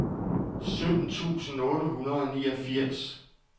sytten tusind otte hundrede og niogfirs